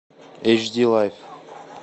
эйч ди лайф